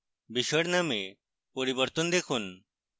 বিষয়ের name পরিবর্তন দেখুন